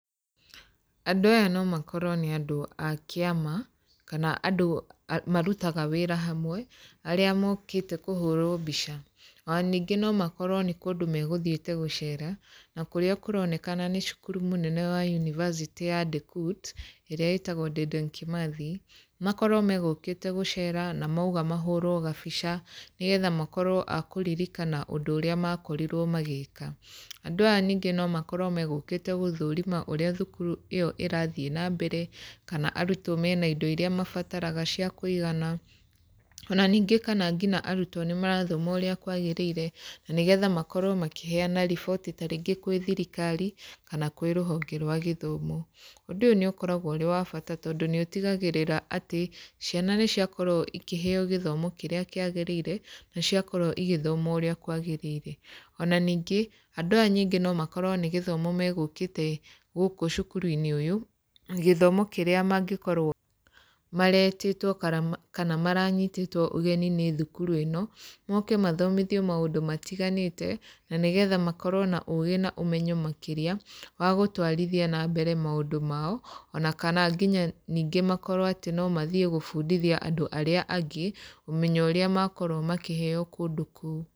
Andũ aya no makorwo nĩ andũ a kĩama, kana andũ marutaga wĩra hamwe, arĩa mokĩte kũhũrwo mbica. Ona ningĩ no makorwo nĩ kũndũ megũthiĩte gũcera, na kũrĩa kũronekana nĩ cukuru mũnene wa unibacĩtĩ ya DEKUT, ĩrĩa ĩtagwo Dedan Kimathi. Makorwo magũkĩte gũcera, na mauga mahũrwo gabica nĩgetha makorwo a kũririkana ũndũ ũrĩa makorirwo magĩka. Andũ aya ningĩ no makorwo megũkĩte gũthũrima ũrĩa thukuru ĩyo ĩrathiĩ na mbere, kana arutwo mena indo irĩa mabataraga cia kũigana. Ona ningĩ kana ngina arutwo nĩ marathoma ũrĩa kwagĩrĩire, na nĩgetha makorwo makĩheana riboti tarĩngĩ kwĩ thirikari, kana kwĩ rũhonge rwa gĩthomo. Ũndũ ũyũ n ĩũkoragwo ũrĩ wa bata tondũ nĩ ũtigagĩrĩra atĩ, ciana nĩ ciakorwo ikĩheeo gĩthomo kĩrĩa kĩagĩrĩire, na ciakorwo igĩthoma ũrĩa kwagĩrĩire. Ona ningĩ, andũ aya nyingĩ no makorwo nĩ gĩthomo megũkĩte gũkũ cukuru-inĩ ũyũ, gĩthomo kĩrĩa mangĩkorwo maretĩtwo kana kana maranyitĩtwo ũgeni nĩ thukuru ĩno, moke mathomithio maũndũ matiganĩte, na nĩgetha makorwo na ũũgĩ na ũmenyo makĩria, wa gũtwarithia na mbere maũndũ mao. Ona kana nginya ningĩ makorwo atĩ no mathiĩ gũbundithia andũ arĩa angĩ, ũmenyo ũrĩa makorwo makĩheeo kũndũ kũu.